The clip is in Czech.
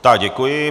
Tak, děkuji.